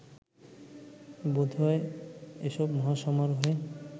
বোধহয় এসব মহাসমারোহে